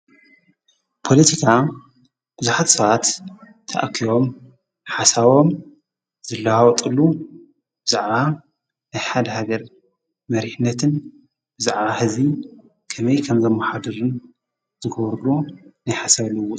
ፖሎቲካ ብዙኃት ሰዓት ተኣኪዮም ሓሳቦም ዘለሃወጡሉ ብዛዕራ ኣሓድ ሃገር መሪህነትን ብዛዕራ ሕዚይ ከመይ ከምዘመሓድርን ዘጐበሩሎ ነይኃሰ ልዎውጥ እዩ።